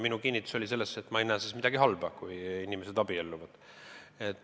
Minu kinnitus oli, et ma ei näe midagi halba selles, kui inimesed abielluvad.